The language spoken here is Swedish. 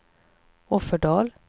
Offerdal